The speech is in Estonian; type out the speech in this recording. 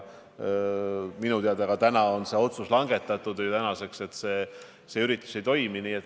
Minu teada on langetatud otsus, et see üritus ei toimu.